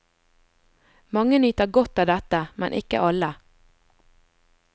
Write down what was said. Mange nyter godt av dette, men ikke alle.